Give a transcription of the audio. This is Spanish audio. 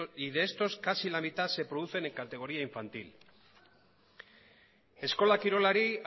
y de estos casi la mitad se producen en categoría infantil eskola kirolari